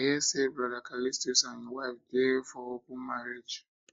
i hear say brother callistus and him wife dey for open marriage